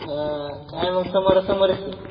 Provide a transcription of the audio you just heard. हा, काय मग समोरासमोरच आहे.